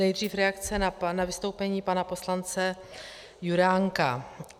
Nejdřív reakce na vystoupení pana poslance Juránka.